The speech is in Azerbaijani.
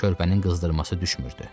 Körpənin qızdırması düşmürdü.